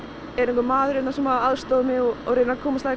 er einhver maður hérna sem aðstoðar mig og reynir að komast að